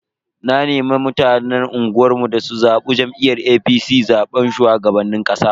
Na nemi mutanen unguwar mu da su zabi jam'iyyar APC a zaben shugaban kasa.